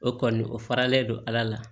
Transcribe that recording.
O kɔni o faralen don ala la